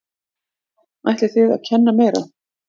Ætlið þið að kenna meira?